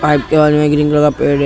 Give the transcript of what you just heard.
pipe के green colour का पेड़ है --